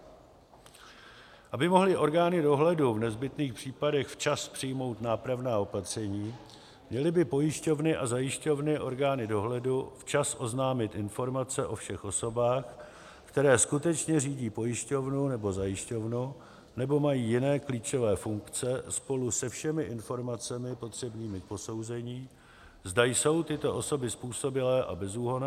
Aby mohly orgány dohledu v nezbytných případech včas přijmout nápravná opatření, měly by pojišťovny a zajišťovny orgánu dohledu včas oznámit informace o všech osobách, které skutečně řídí pojišťovnu nebo zajišťovnu nebo mají jiné klíčové funkce, spolu se všemi informacemi potřebnými k posouzení, zda jsou tyto osoby způsobilé a bezúhonné.